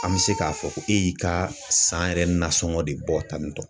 An bɛ se k'a fɔ ko e y'i ka san yɛrɛ nasɔngɔ de bɔ tan nin tɔ.